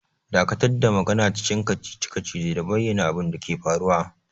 Dakatar da magana cikin kacici-kacici da bayyana abin da ke faruwa!